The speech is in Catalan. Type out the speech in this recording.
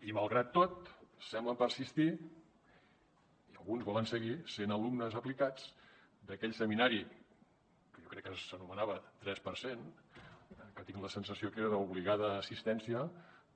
i malgrat tot semblen persistir i alguns volen seguir sent alumnes aplicats d’aquell seminari que jo crec que s’anomenava tres per cent que tinc la sensació que era d’obligada assistència